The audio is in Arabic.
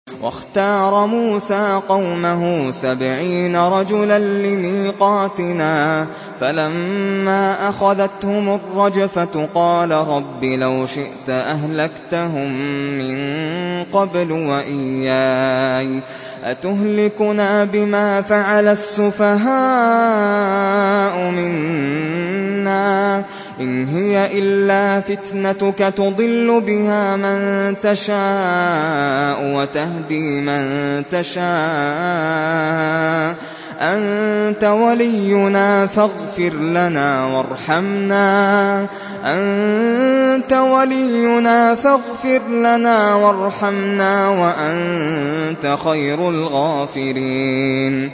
وَاخْتَارَ مُوسَىٰ قَوْمَهُ سَبْعِينَ رَجُلًا لِّمِيقَاتِنَا ۖ فَلَمَّا أَخَذَتْهُمُ الرَّجْفَةُ قَالَ رَبِّ لَوْ شِئْتَ أَهْلَكْتَهُم مِّن قَبْلُ وَإِيَّايَ ۖ أَتُهْلِكُنَا بِمَا فَعَلَ السُّفَهَاءُ مِنَّا ۖ إِنْ هِيَ إِلَّا فِتْنَتُكَ تُضِلُّ بِهَا مَن تَشَاءُ وَتَهْدِي مَن تَشَاءُ ۖ أَنتَ وَلِيُّنَا فَاغْفِرْ لَنَا وَارْحَمْنَا ۖ وَأَنتَ خَيْرُ الْغَافِرِينَ